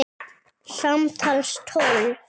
Samtals tólf.